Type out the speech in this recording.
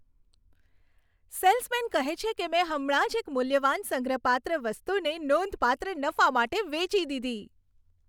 Salesman કહે છે કે, મેં હમણાં જ એક મૂલ્યવાન સંગ્રહપાત્ર વસ્તુને નોંધપાત્ર નફા માટે વેચી દીધી.